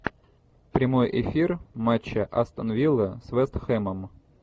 прямой эфир матча астон вилла с вест хэмом